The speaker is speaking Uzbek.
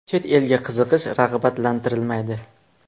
Chet elga chiqish rag‘batlantirilmaydi.